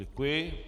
Děkuji.